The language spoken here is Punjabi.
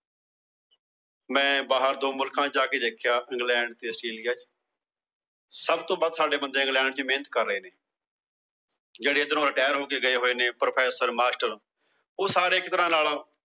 ਮੈ ਬਾਹਰ ਦੋ ਮੁਲਕਾਂ ਚ ਜਾਕੇ ਦੇਖਿਆ England ਤੇ Australia ਚ। ਸਭ ਤੋਂ ਵੱਧ ਸਾਡੇ ਬੰਦੇ England ਚ ਮੇਹਨਤ ਕਰ ਰਹੇ ਨੇ। ਜਿਹੜੇ ਏਧਰੋਂ Retire ਹੋ ਕੇ ਗਏ ਨੇ। Professor, Master ਉਹ ਸਾਰੇ ਇੱਕ ਤਰਹ ਨਾਲ